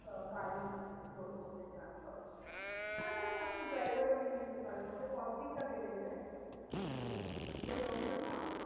আহ গাড়ি explore করতে চান সবকিছু। তাহলে আপনি driver ও নিয়ে নিতে পারেন ওতে costing টা বেড়ে যায়। কিন্তু মানে সেই option ও আছে।